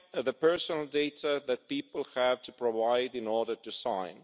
the personal data that people have to provide in order to sign.